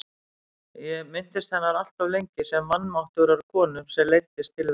Ég minntist hennar alltof lengi sem vanmáttugrar konu sem leiddist tilveran.